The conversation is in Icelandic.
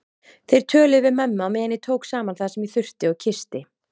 Þeir töluðu við mömmu á meðan ég tók saman það sem ég þurfti og kyssti